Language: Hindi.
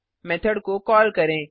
मेथड को कॉल करें